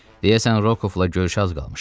Deyəsən, Rokovla görüşə az qalmışdı.